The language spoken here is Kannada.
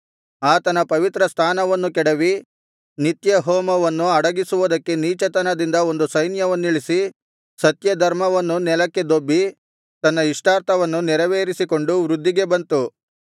ಆತನ ಪವಿತ್ರ ಸ್ಥಾನವನ್ನು ಕೆಡವಿ ನಿತ್ಯ ಹೋಮವನ್ನು ಅಡಗಿಸುವುದಕ್ಕೆ ನೀಚತನದಿಂದ ಒಂದು ಸೈನ್ಯವನ್ನಿಳಿಸಿ ಸತ್ಯಧರ್ಮವನ್ನು ನೆಲಕ್ಕೆ ದೊಬ್ಬಿ ತನ್ನ ಇಷ್ಟಾರ್ಥವನ್ನು ನೆರವೇರಿಸಿಕೊಂಡು ವೃದ್ಧಿಗೆ ಬಂತು